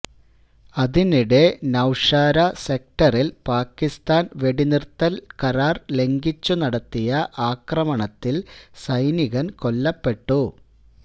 അതിനിടെ നൌഷാര സെക്ടറില് പാകിസ്താന് വെടിനിര്ത്തല് കരാര് ലംഘിച്ചു നടത്തിയ ആക്രമണത്തില് സൈനികന് കൊല്ലപ്പെട്ടു